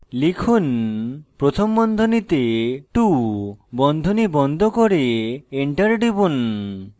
লিখুন প্রথম বন্ধনীতে 2 বন্ধনী বন্ধ করে enter টিপুন